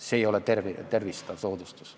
See ei ole tervistav soodustus.